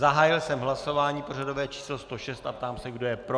Zahájil jsem hlasování pořadové číslo 106 a ptám se, kdo je pro?